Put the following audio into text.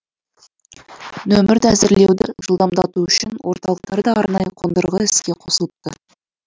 нөмірді әзірлеуді жылдамдату үшін орталықтарда арнайы қондырғы іске қосылыпты